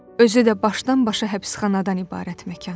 Özü də başdan-başa həbsxanadan ibarət məkan.